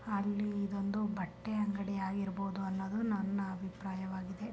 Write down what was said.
ಅಲ್ಲಿ ಇದು ಒಂದು ಬಟ್ಟೆ ಅಂಗಡಿ ಆಗಿರ್ಬೋದು ಅನೋದು ನನ್ನ ಅಭಿಪ್ರಾಯವಾಗಿದೆ .